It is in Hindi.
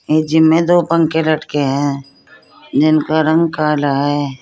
ये जिम में दो पंखे लटके हैं जिनका रंग काला है।